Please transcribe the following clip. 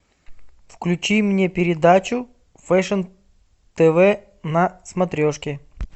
включи мне передачу фэшн тв на смотрешке